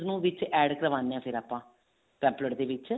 ਨੂੰ ਵਿੱਚ add ਕਰਵਾਂਦੇ ਹਾਂ ਫ਼ੇਰ ਆਪਾਂ pamphlet ਦੇ ਵਿੱਚ